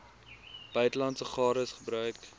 buitelandse gades gebruik